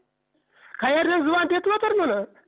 қаерден звонить етіп отыр мұны